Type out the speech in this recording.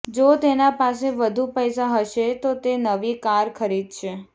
જો તેના પાસે વધુ પૈસા હશે તો તે નવી કાર ખરીદશે